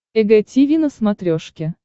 эг тиви на смотрешке